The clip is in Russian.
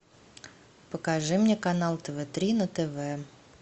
покажи мне канал тв три на тв